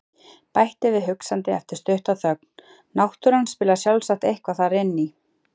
Bætti við hugsandi eftir stutta þögn: Náttúran spilar sjálfsagt eitthvað þar inn í.